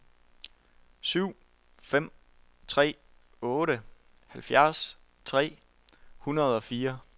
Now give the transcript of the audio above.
syv fem tre otte halvfjerds tre hundrede og fire